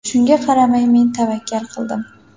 Shunga qaramay men tavakkal qildim.